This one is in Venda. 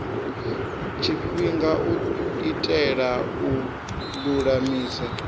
tshifhinga u itela u lulamisa